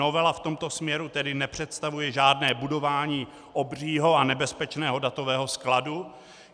Novela v tomto směru tedy nepředstavuje žádné budování obřího a nebezpečného datového skladu.